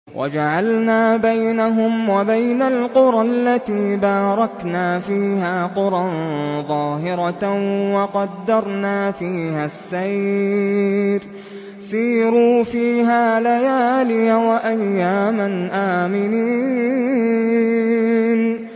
وَجَعَلْنَا بَيْنَهُمْ وَبَيْنَ الْقُرَى الَّتِي بَارَكْنَا فِيهَا قُرًى ظَاهِرَةً وَقَدَّرْنَا فِيهَا السَّيْرَ ۖ سِيرُوا فِيهَا لَيَالِيَ وَأَيَّامًا آمِنِينَ